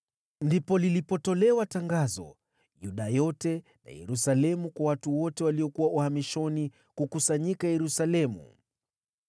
Ndipo lilipotolewa tangazo Yuda yote na Yerusalemu kwa watu wote waliokuwa uhamishoni kukusanyika Yerusalemu.